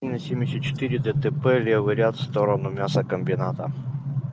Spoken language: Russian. на семьдесят четыре дтп левый ряд в сторону мясокомбината